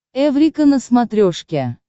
эврика на смотрешке